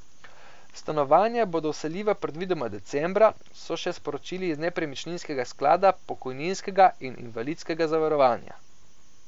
Stanovanja bodo vseljiva predvidoma decembra, so še sporočili iz Nepremičninskega sklada pokojninskega in invalidskega zavarovanja.